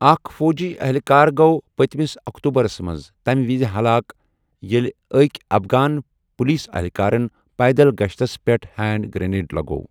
اکھ فوٗجی اہلکار گو پٔتمس اکتوبرَس منٛز تَمہِ وِزِ ہلاک ییٚلہِ أکۍ افغان پولیس اہلکارَن پیدل گشتَس پٮ۪ٹھ ہینڈ گرنیڑ لگوٚو۔